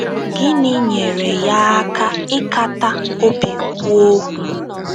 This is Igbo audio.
Gịnị nyeere ya aka ịkata obi kwuo okwu?